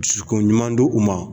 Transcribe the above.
Dusukunɲuman di u ma